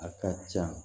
A ka ca